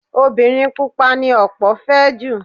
Obìnrin Pupa ni ọ̀pọ̀ fẹ́ jù.